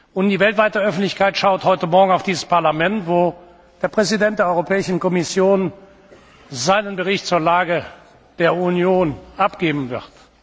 Und die weltweite Öffentlichkeit schaut heute Morgen auf dieses Parlament, wo der Präsident der Europäischen Kommission seinen Bericht zur Lage der Union abgeben wird.